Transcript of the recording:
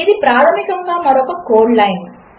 ఇదిప్రాధమికంగామరొకకోడ్లైన్